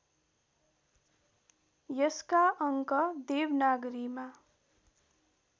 यसका अङ्क देवनागरीमा